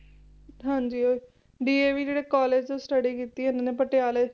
ਹਾਂਜੀ ਉਹੀ DAV ਜਿਹੜੇ college ਤੋਂ study ਕੀਤੀ ਇਹਨਾਂ ਨੇ ਪਟਿਆਲੇ